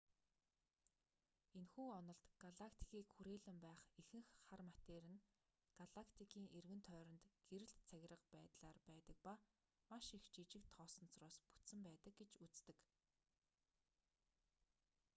энэхүү онолд галактикийг хүрээлэн байх ихэнх хар матери нь галактикын эргэн тойронд гэрэлт цагираг байдлаар байдаг ба маш их жижиг тоосонцороос бүтсэн байдаг гэж үздэг